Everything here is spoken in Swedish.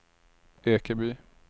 Ekeby